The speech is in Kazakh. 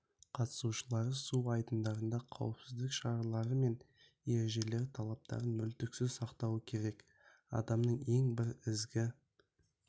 қатысушылары су айдындарында қауіпсіздік шаралары мен ережелері талаптарын мүлтіксіз сақтауы керек адамның ең бір ізгі